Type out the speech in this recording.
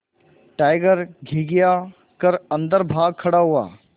tiger घिघिया कर अन्दर भाग खड़ा हुआ